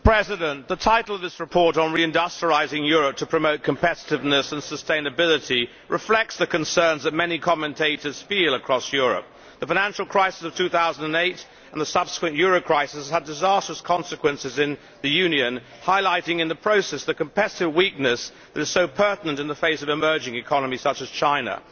Mr President, the title of this report Reindustrialising Europe to Promote Competitiveness and Sustainability reflects the concerns felt by many commentators across Europe, that the financial crisis of 2008 and the subsequent euro crisis have had disastrous consequences in the Union, highlighting in the process the competitiveness weakness that is so pertinent in the face of emerging economies such as China.